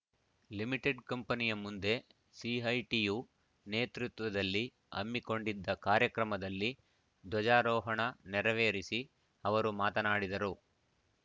limited ಕಂಪೆನಿಯ ಮುಂದೆ ಸಿಐಟಿಯು ನೇತೃತ್ವದಲ್ಲಿ ಹಮ್ಮಿಕೊಂಡಿದ್ದ ಕಾರ್ಯಕ್ರಮದಲ್ಲಿ ಧ್ವಜಾರೋಹಣ ನೆರವೇರಿಸಿ ಅವರು ಮಾತನಾಡಿದರು